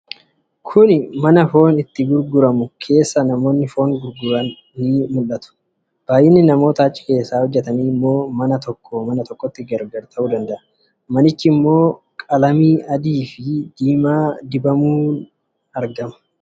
Mana foon itti gurguramu keessa namoonni foon gurguran jiru. Baay'inni namoota achi keessa hojjetanii immoo mana tokkoo mana tokkotti gargar ta'uu danda'a. Manicha immoo qalamii adii fi diimaa dibuu danda'u.